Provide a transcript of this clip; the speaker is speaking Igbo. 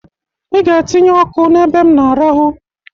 I ga-atinye ọkụ n'ebe m na-arahụ!